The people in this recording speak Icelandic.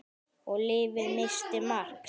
Og lyfið missti marks.